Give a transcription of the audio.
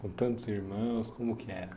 Com tantos irmãos, como que era?